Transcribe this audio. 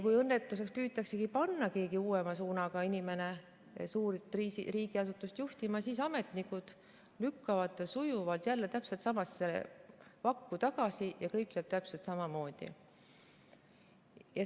Kui püütaksegi panna keegi uuema suunaga inimene suurt riigiasutust juhtima, siis ametnikud lükkavad ta sujuvalt jälle täpselt samasse vakku tagasi ja kõik läheb täpselt samamoodi.